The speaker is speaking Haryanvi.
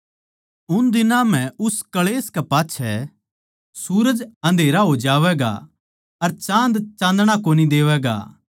उन दिनां म्ह उस क्ळेश कै पाच्छै सूरज अन्धेरा हो जावैगा अर चाँद चाँदणा कोनी देवैगा